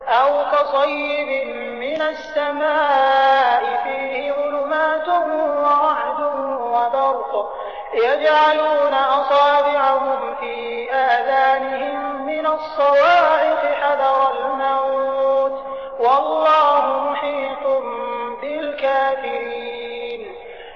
أَوْ كَصَيِّبٍ مِّنَ السَّمَاءِ فِيهِ ظُلُمَاتٌ وَرَعْدٌ وَبَرْقٌ يَجْعَلُونَ أَصَابِعَهُمْ فِي آذَانِهِم مِّنَ الصَّوَاعِقِ حَذَرَ الْمَوْتِ ۚ وَاللَّهُ مُحِيطٌ بِالْكَافِرِينَ